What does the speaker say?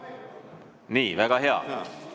Nii, väga hea.